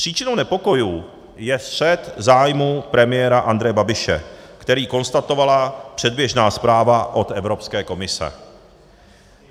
Příčinou nepokojů je střet zájmů premiéra Andreje Babiše, který konstatovala předběžná zpráva od Evropské komise.